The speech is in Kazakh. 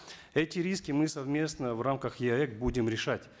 эти риски мы совместно в рамках еаэс будем решать